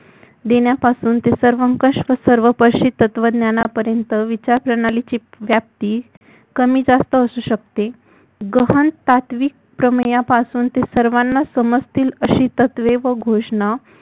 देण्यापासून ते सहम कष्ट सर्व पश्चित्वज्ञानापर्यंत विचारप्रणालीची व्याप्ती कमी जास्त असू शकते ग्रहण सात्विक प्रमेयापासून अशी सर्वांना समजील अशी तत्वे व घोषणा